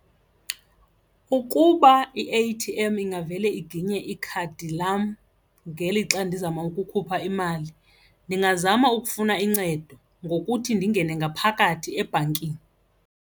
Ukuba i-A_T_M ingavele iginye ikhadi lam ngelixa ndizama ukukhupha imali ndingazama ukufuna incedo ngokuthi ndingene ngaphakathi ebhankini.